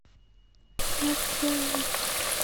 маркелову